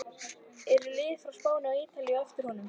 Eru lið frá Spáni og Ítalíu á eftir honum?